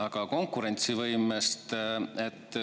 Aga konkurentsivõimest.